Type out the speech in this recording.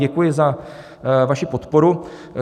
Děkuji za vaši podporu.